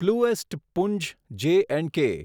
પ્લુએસ્ટ પૂંચ J and કે